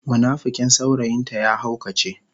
munafikin saurayin ta ya haukace.